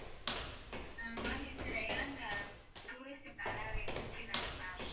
Ma'am இது rayon tourist travel agency தான ma'am?